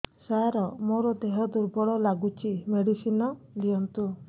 ସାର ମୋର ଦେହ ଦୁର୍ବଳ ଲାଗୁଚି ମେଡିସିନ ଦିଅନ୍ତୁ